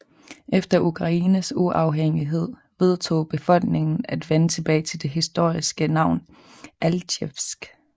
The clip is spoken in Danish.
Efter Ukraines uafhængighed vedtog befolkningen at vende tilbage til det historiske navn Altjevsk